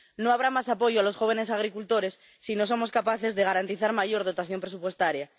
No habrá más apoyo a los jóvenes agricultores si no somos capaces de garantizar mayor dotación presupuestaria.